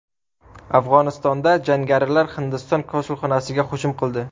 Afg‘onistonda jangarilar Hindiston konsulxonasiga hujum qildi.